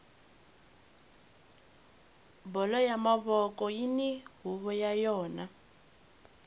bolo ya mavoko yini huvo ya yona